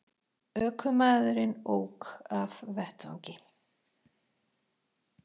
Ökumaðurinn ók af vettvangi